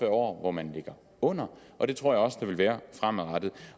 år hvor man ligger under og det tror jeg der også vil være fremadrettet